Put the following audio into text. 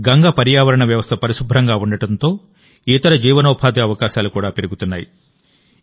గంగ పర్యావరణ వ్యవస్థ పరిశుభ్రంగా ఉండటంతోఇతర జీవనోపాధి అవకాశాలు కూడా పెరుగుతున్నాయి